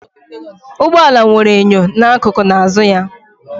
Ụgbọ ala nwere enyo n'akụkụ na azụ ya